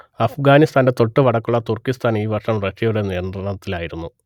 അഫ്ഗാനിസ്താന്റെ തൊട്ടുവടക്കുള്ള തുർക്കിസ്താൻ ഈ വർഷം റഷ്യയുടെ നിയന്ത്രണത്തിലായിരുന്നു